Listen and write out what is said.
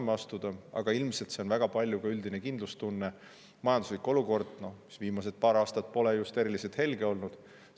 Aga ilmselt väga palju ka üldisest kindlustundest, majanduse olukorrast, mis viimased paar aastat pole just eriliselt helge olnud.